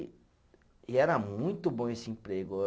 E e era muito bom esse emprego.